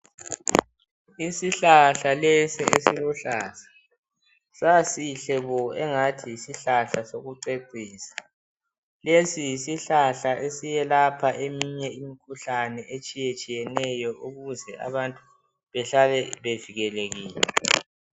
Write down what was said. Isihlahla lesi esiluhlaza sasihle bo engathi yisihlahla sokucecisa. Lesi yisihlahla esiyelapha eminye imikhuhlane etshiyetshiyeneyo ukuze abantu behlale bevikelekile.